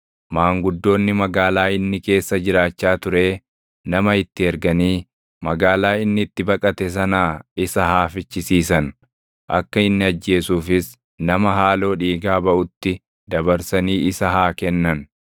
maanguddoonni magaalaa inni keessa jiraachaa turee nama itti erganii magaalaa inni itti baqate sanaa isa haa fichisiisan; akka inni ajjeesuufis nama haaloo dhiigaa baʼutti dabarsanii isa haa kennan.